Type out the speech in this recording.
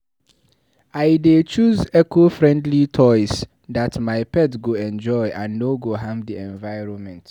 I dey choose eco-friendly toys that my pet go enjoy and no go harm the environment.